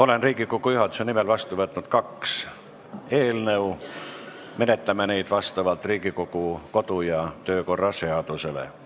Olen Riigikogu juhatuse nimel vastu võtnud kaks eelnõu, menetleme neid vastavalt Riigikogu kodu- ja töökorra seadusele.